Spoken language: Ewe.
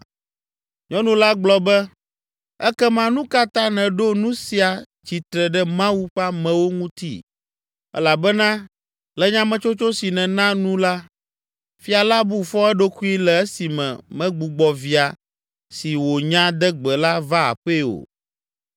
Nyɔnu la gblɔ be, “Ekema nu ka ta nèɖo nu sia tsitre ɖe Mawu ƒe amewo ŋuti? Elabena le nyametsotso si nèna nu la, fia la bu fɔ eɖokui le esime megbugbɔ via si wònya de gbe la va aƒee o.